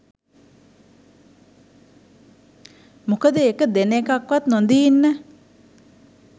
මොකද ඒක දෙන එකවත් නොදී ඉන්න